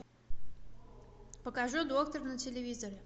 покажи доктор на телевизоре